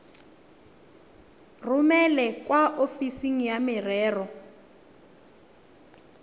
romele kwa ofising ya merero